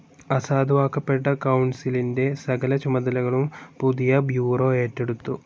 അസാധുവാക്കപ്പെട്ട കൗൺസിലിന്റെ സകല ചുമതലകളും പുതിയ ബ്യൂറോ ഏറ്റെടുത്തു.